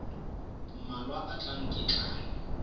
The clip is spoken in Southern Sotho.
mmalwa a tlang ke tla